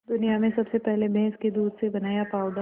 दुनिया में सबसे पहले भैंस के दूध से बनाया पावडर